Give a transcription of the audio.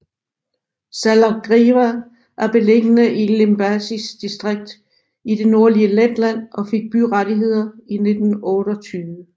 Salacgrīva er beliggende i Limbažis distrikt i det nordlige Letland og fik byrettigheder i 1928